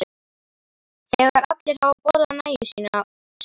Þegar allir hafa borðað nægju sína stígur